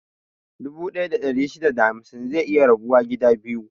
Dubu ɗaya da ɗari shida da hamsin zai iya rabuwa gida biyu.